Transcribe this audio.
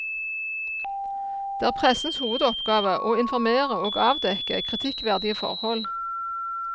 Det er pressens hovedoppgave å informere og avdekke kritikkverdige forhold.